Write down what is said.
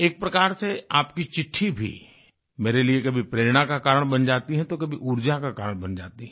एक प्रकार से आपकी चिट्ठी भी मेरे लिये कभी प्रेरणा का कारण बन जाती है तो कभी ऊर्जा का कारण बन जाती है